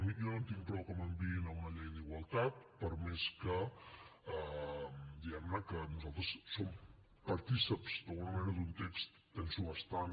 jo no en tinc prou que m’enviïn a una llei d’igualtat per més que diguem ne nosaltres som partícips d’alguna manera d’un text penso bastant